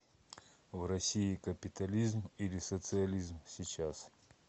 в россии капитализм или социализм сейчас